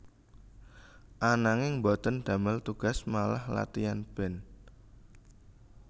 Ananging boten damel tugas malah latian band